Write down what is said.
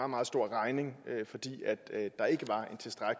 meget stor regning fordi